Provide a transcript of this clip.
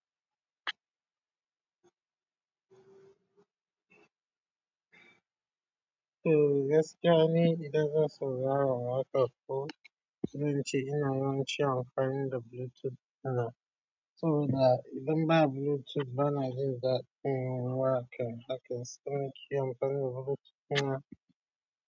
To gaskiya ni idan zan saurara wakar fo, sunce ina yanci anfani da Bluetooth na. To da idan ba Bluetooth ba na ji da, mm, waƙe waƙe sunce anfani da Bluetooth na.